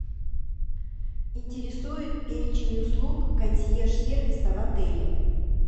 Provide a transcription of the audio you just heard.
интересует перечень услуг консьерж сервиса в отеле